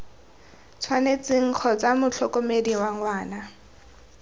tshwanetseng kgotsa motlhokomedi wa ngwana